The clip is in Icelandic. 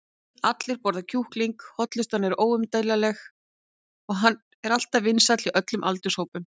allir borða kjúkling, hollustan er óumdeilanleg og hann er alltaf vinsæll hjá öllum aldurshópum.